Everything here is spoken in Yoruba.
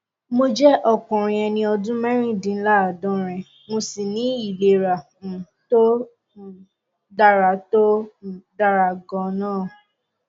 mo jẹ ọkùnrin ẹni ọdún mẹrìndínláàádọrin mo sì ní ìlera um tó um dára tó um dára ganan